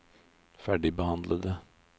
ferdigbehandlede